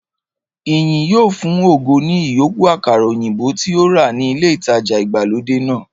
Ìyìn yóò fun ògo ní ìyókù àkàrà òyìnbó tí ó rà ní ilé ìtajà ìgbàlódé náà